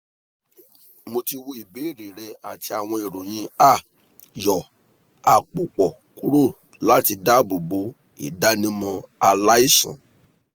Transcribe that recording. mo ti wo ibeere rẹ ati awọn iroyin a yọ apopọ kuro lati dabobo idanimọ alaisan